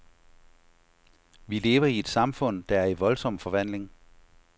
Vi lever i et samfund, der er i voldsom forvandling.